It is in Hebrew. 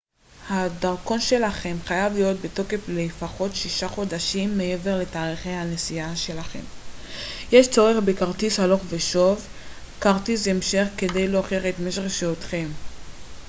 הדרכון שלכם חייב להיות בתוקף לפחות 6 חודשים מעבר לתאריכי הנסיעה שלכם. יש צורך בכרטיס הלוך ושוב/כרטיס המשך כדי להוכיח את משך שהותכם